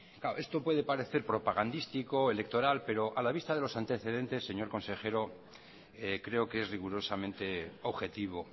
claro esto puede parecer propagandístico electoral pero a la vista de los antecedentes señor consejero creo que es rigurosamente objetivo